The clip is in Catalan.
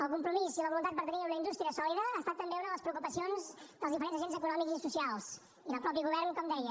el compromís i la voluntat per tenir una indústria sòlida ha estat també una de les preocupacions dels diferents agents econòmics i socials i del mateix govern com deia